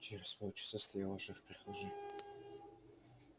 и через полчаса стоял уже в прихожей